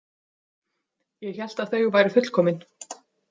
Ég hélt að þau væru fullkomin.